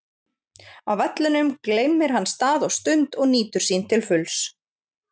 Á vellinum gleymir hann stað og stund og nýtur sín til fulls.